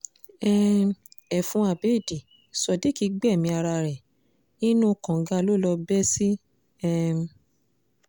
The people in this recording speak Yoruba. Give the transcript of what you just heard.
um ẹfun abéèdì sodiq gbẹ̀mí ara ẹ̀ inú kànga ló lọ bẹ́ sí um